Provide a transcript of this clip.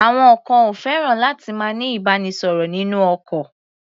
Àwọn kan ò fẹ́ràn láti máa ní ìbánisọ̀rọ̀ nínú ọkọ̀.